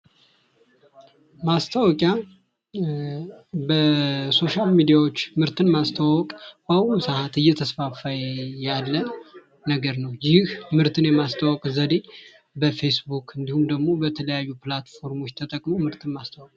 ማስታወቂያ በሶሻል ሚዲያዎች ምርትን ማስተዋወቅ በአሁኑ ሰዓት እየተስፋፋ ያለ ነገር ነው። ይህ የማስተዋወቅ ዘዴ በፌስ ቡክ እንዲሁም የተለያዩ ፕላትፎርሞች ተጠቅሞ ምርትን ማስተዋወቅ